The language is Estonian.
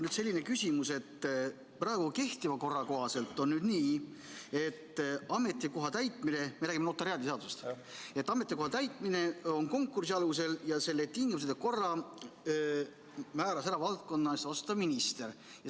Mul on selline küsimus, et praegu kehtiva korra kohaselt on nii – me räägime notariaadiseadusest –, et ametikoha täitmine on konkursi alusel ja selle tingimused ja korra määras ära valdkonna eest vastutav minister.